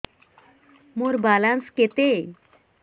ମୋର ବାଲାନ୍ସ କେତେ